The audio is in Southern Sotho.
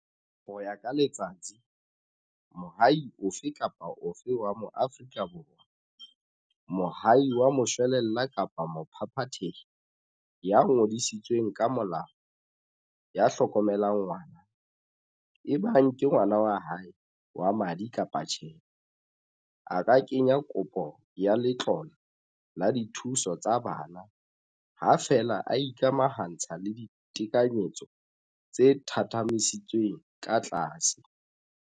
Ho ya ka Letsatsi, moahi ofe kapa ofe wa Moafrika Borwa, moahi wa moshwelella kapa mophaphathehi ya ngodisitsweng ka molao ya hlokomelang ngwana, ebang ke ngwana wa hae wa madi kapa tjhe, a ka kenya kopo ya letlole la dithuso tsa bana, ha feela a ikamahantsha le ditekanyetso tse thathamisitsweng ka tlase.